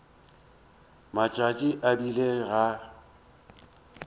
matšatši a e bile ga